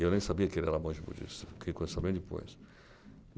E eu nem sabia que ele era monge budista, fiquei sabendo depois.